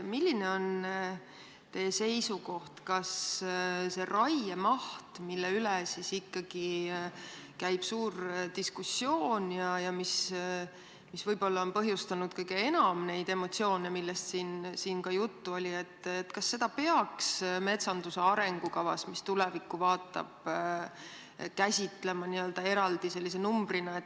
Milline on teie seisukoht, kas seda raiemahtu, mille üle käib suur diskussioon ja mis võib-olla on põhjustanud kõige enam neid emotsioone, millest siin ka juttu oli, peaks metsanduse arengukavas, mis tulevikku vaatab, käsitlema sellise n-ö eraldi numbrina?